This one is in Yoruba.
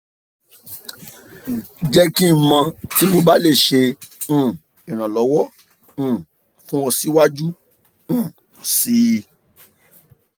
jẹ ki n mọ ti mo ba le ṣe um iranlọwọ um fun ọ siwaju um sii